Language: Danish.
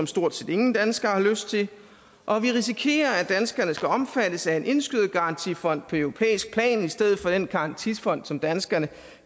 stort set ingen danskere har lyst til og vi risikerer at danskerne skal omfattes af indskydergarantifond på europæisk plan i stedet for den garantifond som danskerne